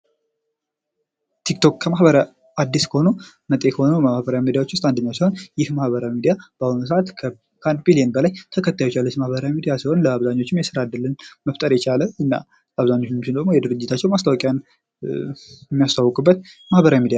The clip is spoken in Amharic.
ቲክቶክ ማህበረ አዲስ ከሆነው መጤ ከሆነው ማኅበራዊ ሚዲያ ውስጥ አንደኛው ሲሆን፤ ይህ ማኅበራዊ ሚዲያ በአሁኑ ሰዓት ለ 1 ቢሊየን በላይ ተከታዮች ያሉት ማህበራዊ ሚዲያ ሲሆን፤ ለአብዛኞቹም የስራ እድል መፍጠር የቻለ እና አብዛኛቸው ደግሞ የድርጅታቸው ማስታወቂያ የሚያስተዋውቅበት ማኅበራዊ ሚዲያ ነው።